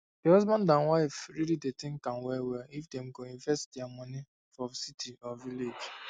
the husband and wife really dey think am well well if them go invest there money for city or village